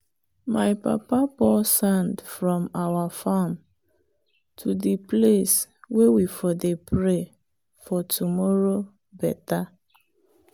my papa pour sand from our farm to the place way we for dey pray for tomorrow better.